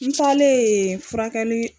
Ntalen furakɛli